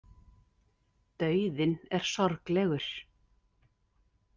Dauðinn er sorglegur.